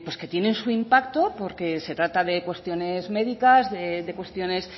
que tienen su impacto porque se trata de cuestiones médicas de cuestiones